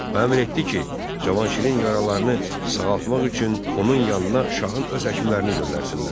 O əmr etdi ki, Cavanşirin yaralarını sağaltmaq üçün onun yanına şahın öz həkimlərini göndərsinlər.